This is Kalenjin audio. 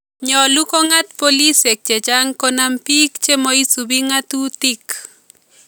Nyolu kong�aat boolisyek chechang Konam biik chemoisipi ngatutik